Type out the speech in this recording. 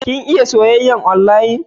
Ka iya soyyayar onlayin?